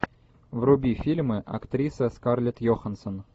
вруби фильмы актриса скарлетт йоханссон